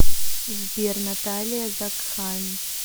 сбер наталия закхайм